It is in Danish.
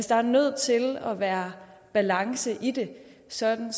der er nødt til at være balance i det sådan